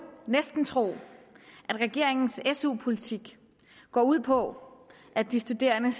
næsten tro at regeringens su politik går ud på at de studerende